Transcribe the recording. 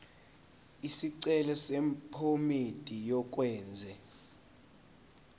isicelo sephomedi yokwenze